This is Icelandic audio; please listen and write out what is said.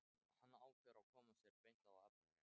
Hann ákveður að koma sér beint að efninu.